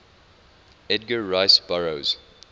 edgar rice burroughs